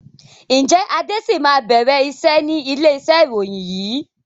Ǹjẹ́ Adé sì máa bẹ̀rẹ̀ iṣẹ́ ni ilé iṣẹ́ ìròyìn yìí?